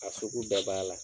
A sugu bɛɛ b'a la.